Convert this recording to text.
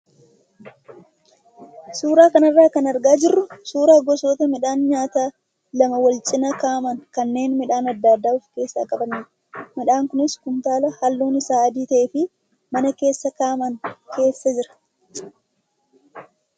Suuraa kanarraa kan argaa jirru suuraa gosoota midhaan nyaataa lama wal cinaa kaa'aman kanneen midhaan adda addaa of keessaa qabanidha. Midhaan kunis kuntaala halluun isaa adii ta'ee fi mana keessa kaa'aman keessa jira.